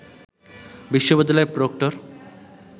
বিশ্ববিদ্যালয়ের প্রক্টর